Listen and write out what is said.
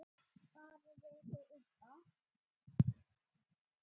Bara rekið upp Á!